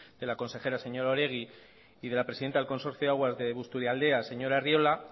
de la consejera señora oregi y de la presidenta del consorcio de aguas de busturialdea señora arriola